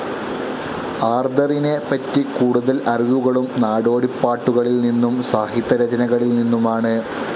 ആർതെറിനെ പറ്റി കൂടുതൽ അറിവുകളും നാടോടി പാട്ടുകളിൽ നിന്നും സാഹിത്യരചനകളിൽ നിന്നുമാണ്.